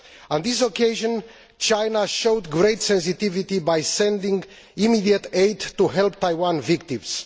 On this occasion China showed great sensitivity by sending immediate aid to help Taiwanese victims.